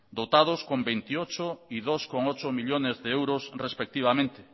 dotados con veintiocho y dos coma ocho millónes de euros respectivamente